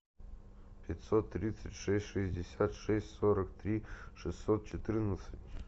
пятьсот тридцать шесть шестьдесят шесть сорок три шестьсот четырнадцать